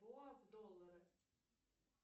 в доллары